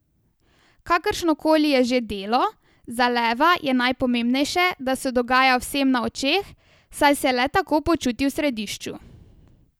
Kakršnokoli je že delo, za leva je najpomembnejše, da se dogaja vsem na očeh, saj se le tako počuti v središču.